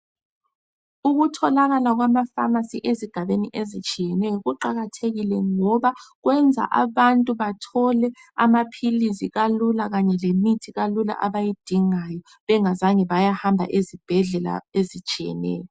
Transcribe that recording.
Ukutholakala kwama famasi ezigabeni ezitshiyeneyo kuqakathekile ngoba kwenza abantu bathole amaphilisi kalula kanye lemithi kalula abayidingayo bengazange bayahamba ezibhedlela ezitshiyeneyo.